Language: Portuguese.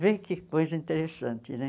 Vê que coisa interessante, né?